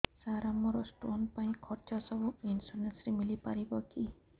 ସାର ମୋର ସ୍ଟୋନ ପାଇଁ ଖର୍ଚ୍ଚ ସବୁ ଇନ୍ସୁରେନ୍ସ ରେ ମିଳି ପାରିବ କି